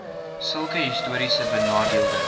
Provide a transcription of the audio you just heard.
sulke histories benadeelde